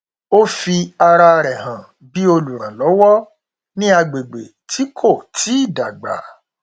ó fi ara rẹ hàn bí olùrànlọwọ ní agbègbè tí kò tíì dágbà